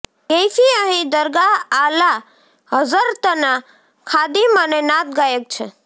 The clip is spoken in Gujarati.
કૈફી અહીં દરગાહ આલા હઝરતના ખાદીમ અને નાત ગાયક છે